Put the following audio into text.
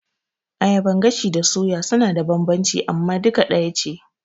Ayaban gashi da suya suna da bambanci nau'i amma suka ɗaya ce